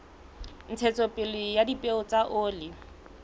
ntshetsopele ya dipeo tsa oli